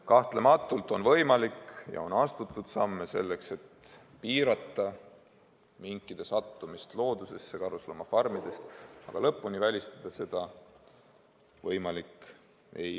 Kahtlematult on olnud võimalik astuda samme selleks, et piirata karusloomafarmide minkide sattumist loodusesse, ja seda on ka tehtud, aga seda täiesti välistada ei ole võimalik.